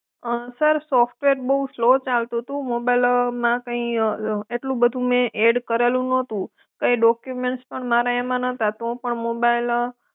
અં sir software બઉ slow ચાલતું હતું મોબાઈલમાં કઈં એટલું બધું મેં એડ કરેલું નહતું કઈં ડોકયુમેન્ટસ પણ મારા એમાં નતા તો પણ મોબાઈલ.